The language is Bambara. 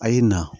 A y'i na